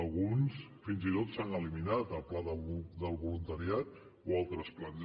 alguns fins i tot s’han eliminat el pla del voluntariat o altres plans